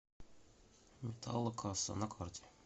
металлокасса на карте